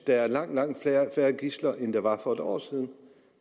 der er langt langt færre gidsler end der var for en år siden og